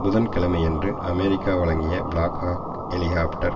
புதன்கிழமையன்று America வழங்கிய Black Hawk helicopter